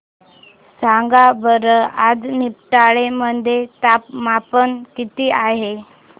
सांगा बरं आज निमडाळे मध्ये तापमान किती आहे